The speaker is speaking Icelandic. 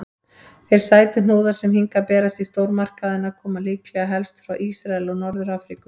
Þeir sætuhnúðar sem hingað berast í stórmarkaðina koma líklega helst frá Ísrael og Norður-Afríku.